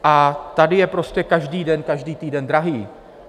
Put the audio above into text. A tady je prostě každý den, každý týden drahý.